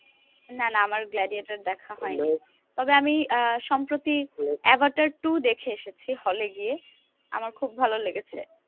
না না আমার গ্লাডিয়েটর দেখা হয়নি। তবে আমি আহ সম্প্রতি এভাটার টু দেখে এসেছি hall এ গিয়ে। আমার খুব ভালো লেগেছে।